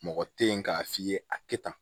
Mɔgɔ tɛ yen k'a f'i ye a tɛ tan